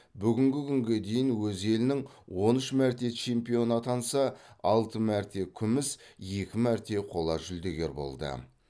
бүгінгі күнге дейін өз елінің он үш мәрте чемпионы атанса алты мәрте күміс екі мәрте қола жүлдегер болды